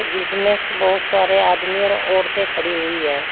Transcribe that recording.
इसमें बहुत सारे आदमी और औरतें खड़ी हुई है।